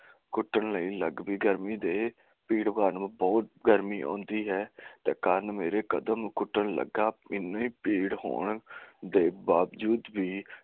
ਘੁਟਣ ਲਈ ਗਰਮੀ ਵਿਚ ਤੇ ਕਰਨ ਮੇਰੇ ਕਦਮ ਘੁਟਣ ਲੱਗਾ ਇੰਨੀ ਭੀੜ ਹੋਣ ਦੇ ਬਾਵਜੂਦ ਵੀ